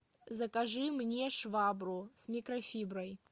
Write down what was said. закажи мне швабру с микрофиброй